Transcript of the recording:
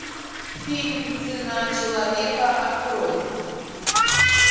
фильм цена человека открой